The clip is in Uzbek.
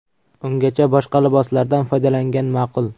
Ungacha boshqa liboslardan foydalangan ma’qul.